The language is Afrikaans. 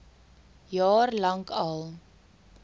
jaar lank al